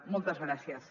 moltes gràcies